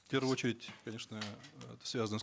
в первую очередь конечно это связано с